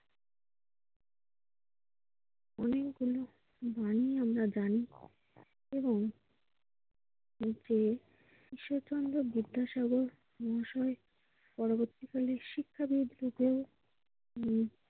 অন্য কেউ জানে কি না জানে তবুও ঈশ্বরচন্দ্র বিদ্যাসাগর মহাশয় পরবর্তীকালে শিক্ষাবিদ হিসেবে উম